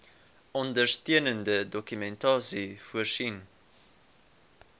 ondersteunende dokumentasie voorsien